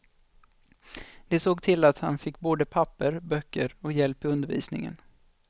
De såg till att han fick både papper, böcker och hjälp i undervisningen.